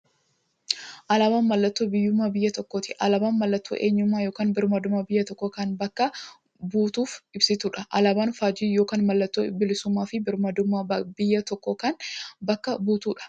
Alaabaan mallattoo biyyuummaa biyya tokkooti. Alaabaan mallattoo eenyummaa yookiin birmaadummaa biyya tokkoo kan bakka buutuuf ibsituudha. Alaaban faajjii yookiin maallattoo bilisuummaafi birmaadummaa biyya tokkoo kan bakka buutuudha. Biyya tokko biyya kan jechisisuu alaabaadha.